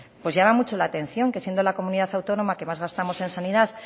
pues llama mucho la atención que siendo la comunidad autónoma que más gastamos en sanidad